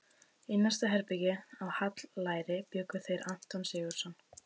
Í næsta herbergi, á Hallæri, bjuggu þeir Anton Sigurðsson